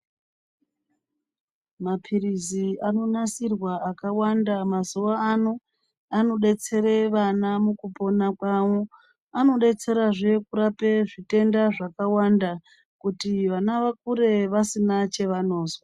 Maphirizi anonasirwa akawanda mazuwano anodetsere vana mukupona kwavo anodetserazve kurapa zvitenda zvakawanda kuti vana vakure vasina chevanozwa.